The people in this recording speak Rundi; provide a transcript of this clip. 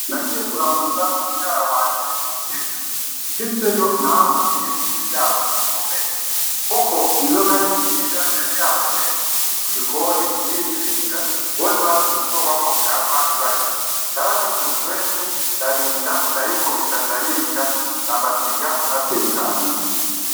Nagiye kuramutsa muvyara wanje igitega, nshitseyo nahahuriye n’ivyago bikomeye. Kuko inzoka y’incira yari yabateye mu gikoni irizinga bose bafise ubwoba ko ihava ibarya, Naragize umwete ndarinda ndayikubita ndayica ndabasiga batekanye.